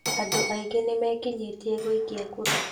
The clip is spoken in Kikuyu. Andũ aingĩ nĩ mekinyĩtie gũikia kura